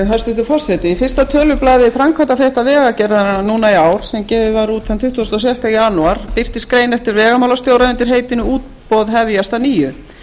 hæstvirtur forseti í fyrsta tölublaði framkvæmdafrétta vegagerðarinnar núna í ár sem gefið var þann tuttugasta og sjötta janúar birtist grein eftir vegamálastjóra undir heitinu útboð hefjast að nýju